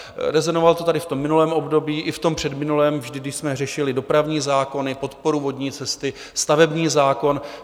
Rezonovalo to tady v tom minulém období i v tom předminulém vždy, když jsme řešili dopravní zákony, podporu vodní cesty, stavební zákon.